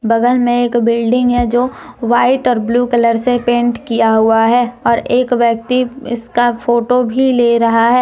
बगल में एक बिल्डिंग है जो वाइट और ब्लू कलर से पेंट किया हुआ है और एक व्यक्ति इसका फोटो भी ले रहा है।